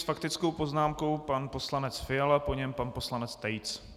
S faktickou poznámkou pan poslanec Fiala, po něm pan poslanec Tejc.